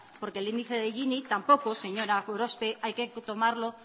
porque el índice del gini tampoco señora gorospe hay que tomarlo